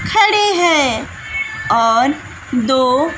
खड़े हैं और दो --